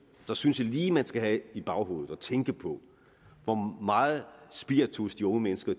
synes jeg lige man skal have i baghovedet tænke på hvor meget spiritus de unge mennesker